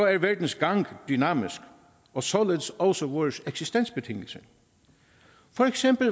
er verdens gang dynamisk og således også vores eksistensbetingelser for eksempel